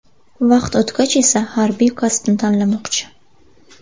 Vaqt o‘tgach esa harbiy kasbni tanlamoqchi.